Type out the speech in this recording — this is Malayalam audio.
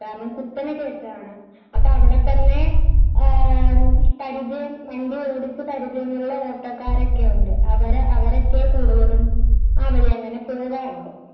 കാരണം കുത്തനെ കേറ്റമാണ് അപ്പൊ അവിടെ തന്നെ പരിചയം വണ്ടി ഓടിച്ച് പരിചയം ഉള്ള ഓട്ടോക്കാരൊക്കെ ഉണ്ട് അവരെ അവരൊക്കെ കൂടുതലും ആ വഴി അങ്ങനെപോകാറുള്ളൂ .